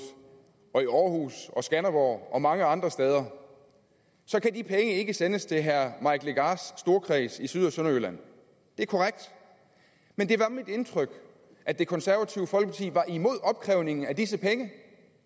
og i aarhus og skanderborg og mange andre steder kan de penge ikke sendes til herre mike legarths storkreds i syd og sønderjylland det er korrekt men det var mit indtryk at det konservative folkeparti var imod opkrævningen af disse penge